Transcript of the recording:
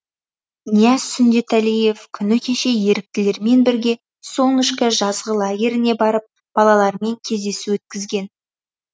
нияз сүндетәлиев күні кеше еріктілермен бірге солнышко жазғы лагеріне барып балалармен кездесу өткізген